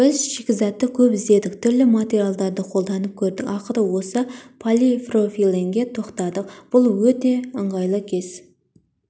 біз шикізатты көп іздедік түрлі материалдарды қолданып көрдік ақыры осы полипропиленге тоқтадық бұл өте ыңғайлы кез